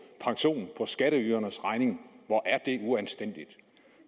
skatteydernes regning hvor er det uanstændigt